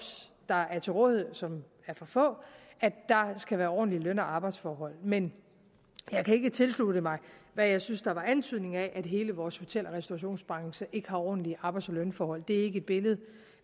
der er til rådighed og som er for få skal være ordentlige løn og arbejdsforhold men jeg kan ikke tilslutte mig hvad jeg synes der var antydning af at hele vores hotel og restaurationsbranche ikke har ordentlige arbejds og lønforhold det er ikke et billede